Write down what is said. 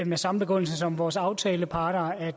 med samme begrundelse som vores aftaleparter